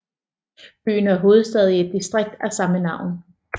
Byen er hovedstad i et distrikt af samme navn